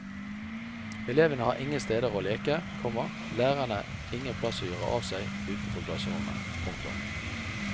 Elevene har ingen steder å leke, komma lærerne ingen plass å gjøre av seg utenfor klasserommet. punktum